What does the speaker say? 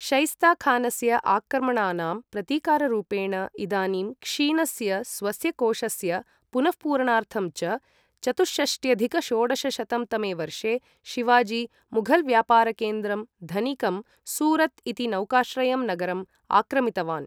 शैस्ता खानस्य आक्रमणानां प्रतीकाररूपेण, इदानीं क्षीणस्य स्वस्य कोषस्य पुनःपूरणार्थं च, चतुःषष्ट्यधिक षोडशशतं तमे वर्षे शिवाजी मुघल व्यापारकेन्द्रं धनिकं सूरत् इति नौकाश्रयं नगरम् आक्रमितवान्।